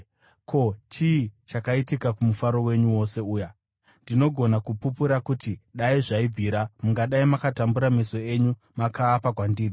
Ko, chii chakaitika kumufaro wenyu wose uya? Ndinogona kupupura kuti dai zvaibvira, mungadai makatumbura meso enyu makaapa kwandiri.